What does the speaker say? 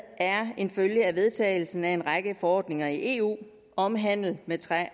er en følge af vedtagelsen af en række forordninger i eu om handel med træ